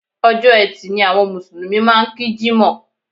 Ọjọ́ ẹtì ni àwọn Mùsùlùmí máa ń kí Jímọ̀